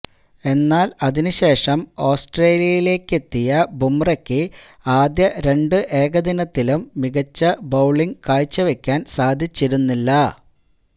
എന്നാല് അതിന് ശേഷം ഓസ്ട്രേലിയയിലേക്കെത്തിയ ബൂംറക്ക് ആദ്യ രണ്ട് ഏകദിനത്തിലും മികച്ച ബൌളിങ് കാഴ്ചവെക്കാന് സാധിച്ചുരുന്നില്ല